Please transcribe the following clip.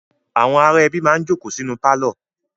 Àwọn ará ẹbí máa ń jókòó sínú pálọ̀.